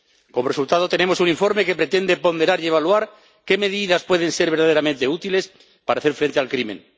Como resultado, tenemos un informe que pretende ponderar y evaluar qué medidas pueden ser verdaderamente útiles para hacer frente al crimen.